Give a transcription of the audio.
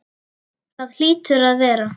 Það hlýtur að vera.